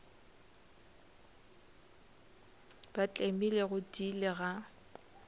ba tlemile go tiile ga